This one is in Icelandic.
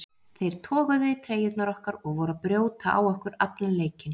Þeir toguðu í treyjurnar okkar og voru að brjóta á okkur allan leikinn.